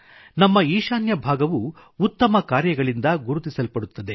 ನಮ್ಮ ಈಶಾನ್ಯ ಭಾಗವು ಉತ್ತಮ ಕಾರ್ಯಗಳಿಂದ ಗುರುತಿಸಲ್ಪಡುತ್ತದೆ